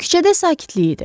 Küçədə sakitlik idi.